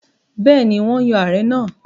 Bẹ́ẹ̀ni, wọ́n yọ Ààrẹ náà.